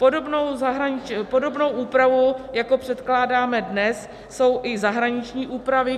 Podobnou úpravu, jako předkládáme dnes, jsou i zahraniční úpravy.